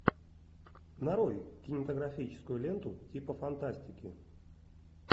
нарой кинематографическую ленту типа фантастики